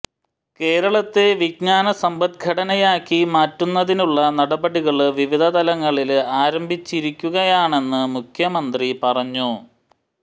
കേരളത്തെ വിജ്ഞാന സമ്പദ്ഘടനയാക്കി മാറ്റുന്നതിനുള്ള നടപടികള് വിവിധ തലങ്ങളില് ആരംഭിച്ചിരിക്കുകയാണെന്ന് മുഖ്യമന്ത്രി പറഞ്ഞു